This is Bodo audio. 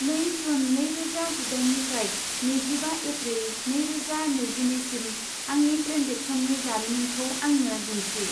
नै जुन नैरोजा जिदाइननिफ्राय नैजिबा एप्रिल नैरोजा नैजिनैसिम आंनि ट्रेन्जेकसननि जारिमिनखौ आंनो दिन्थि।